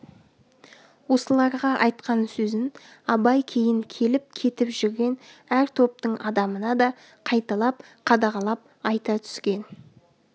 осыларға айтқан сөзін абай кейін келіп-кетіп жүрген әр топтың адамына да қайталап қадағалап айта түскен